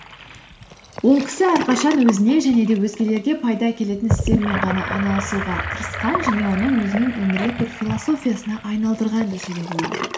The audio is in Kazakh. ол кісі әрқашан өзіне және де өзгелерге пайда әкелетін істермен ғана айналысуға тырысқан және оны өзінің өмірлік бір философиясына айналдырған десе де болады